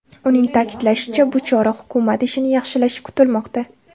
Uning ta’kidlashicha, bu chora hukumat ishini yaxshilashi kutilmoqda.